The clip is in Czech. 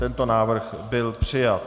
Tento návrh byl přijat.